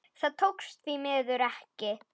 Það tókst því miður ekki.